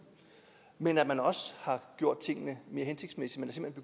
men at man også har gjort tingene mere hensigtsmæssigt